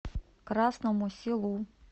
красному селу